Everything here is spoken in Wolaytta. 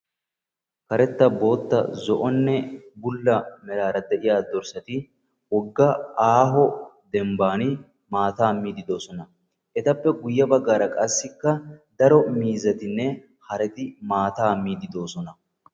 karetta, bootta, zo'onne bulla meraara de'iya dorssati issippe eqqidaageeti maatay kummido sohuwan de'oosona